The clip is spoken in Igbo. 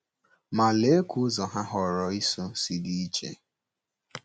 Ma, lee ka ụzọ ha họọrọ ịso si dị iche!